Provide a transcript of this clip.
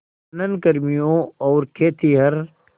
खनन कर्मियों और खेतिहर